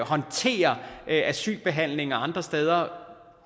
håndtere asylbehandlingen andre steder